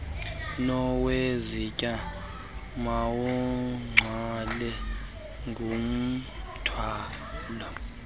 nowezitya mawugcwale ngumthwalo